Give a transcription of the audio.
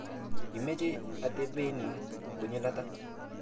Imeche atepenin konyil ata?